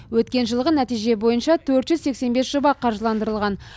өткен жылғы нәтиже бойынша төрт жүз сексен бес жоба қаржыландырылған